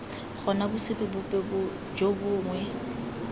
gona bosupi bope jo bongwe